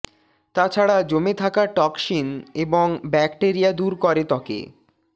তাছাড়া জমে থাকা টক্সিন এবং ব্যাক্টেরিয়া দূর করে ত্বকে